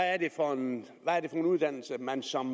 er det for en uddannelse man som